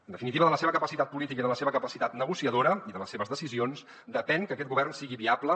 en definitiva de la seva capacitat política i de la seva capacitat negociadora i de les seves decisions depèn que aquest govern sigui viable